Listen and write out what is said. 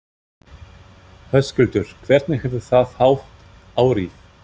Höskuldur: Hvernig hefur það haft áhrif?